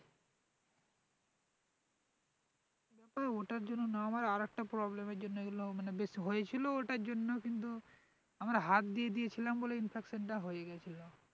ও ওটার জন্য না আমার আরেকটা problem এর জন্য এগুলো মানে বেশি, হয়েছিল ওটার জন্য কিন্তু আবার হাত দিয়ে দিয়েছিলাম বলে infection টা হয়ে গিয়েছিল